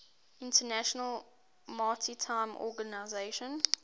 international maritime organization